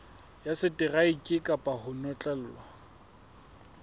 ya seteraeke kapa ho notlellwa